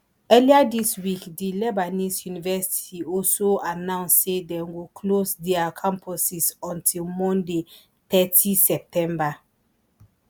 earlier dis week di lebanese university also announce say dem go close dia campuses until monday thirty september